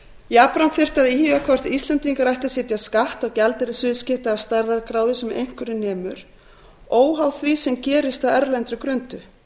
jafnframt þyrfti að íhuga hvort íslendingar ættu að setja skatt á gjaldeyrisviðskipti af stærðargráðu sem einhverju nemur óháð því sem gerist á erlendri grundu